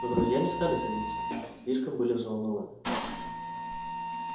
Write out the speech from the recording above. но друзья не стали садиться слишком были взволнованны